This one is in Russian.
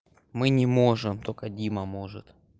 мы не можем только дима может